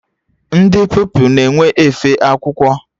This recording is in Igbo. Ndị Pupilụ na-enwe efe akwụkwọ.